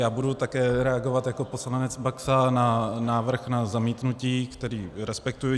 Já budu také reagovat jako poslanec Baxa na návrh na zamítnutí, který respektuji.